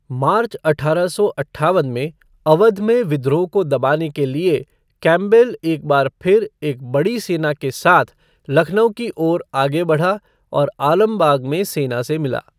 मार्च अठारह सौ अट्ठावन में, अवध में विद्रोह को दबाने के लिए कैंपबेल एक बार फिर एक बड़ी सेना के साथ लखनऊ की ओर आगे बढ़ा और आलमबाग में सेना से मिला।